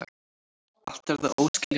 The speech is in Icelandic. Allt er það óskiljanlegt.